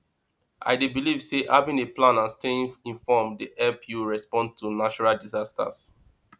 i dey believe say having a plan and staying informed dey help you respond to natural disasters